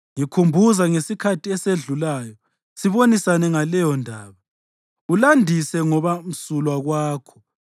Ngikhumbuza ngesikhathi esedlulayo, sibonisane ngaleyondaba ulandise ngoba msulwa kwakho.